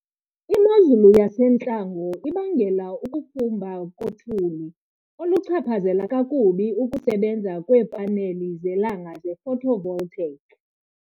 Imozulu yasentlango ibangela ukufumba kothuli, oluchaphazela kakubi ukusebenza kweepaneli zelanga ze-photovoltaic.